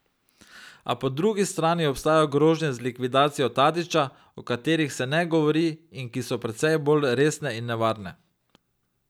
A po drugi strani obstajajo grožnje z likvidacijo Tadića, o katerih se ne govori in ki so precej bolj resne in nevarne.